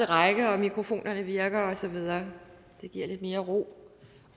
række at mikrofonerne virker og så videre det giver lidt mere ro